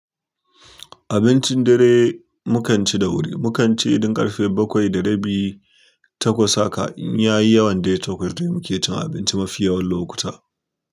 Abincin dare mukan ci da wuri. Mukan ci idan ƙarfe bakwai da rabi takwas haka in ya yi yawan dai takwas dai muke cin abinci mafi yawan lokuta.